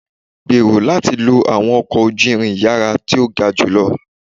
Gbero lati lo awọn ọkọ oju-irin iyara to ga julọ